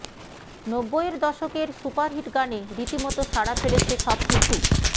নব্বইয়ের দশকের সুপারহিট গানে রীতিমত সাড়া ফেলেছে সব কিছু